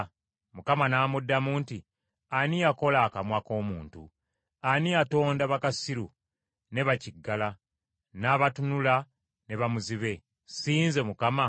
Mukama n’amuddamu nti, “Ani yakola akamwa k’omuntu? Ani yatonda bakasiru, ne bakiggala, n’abatunula, ne bamuzibe? Si nze, Mukama ?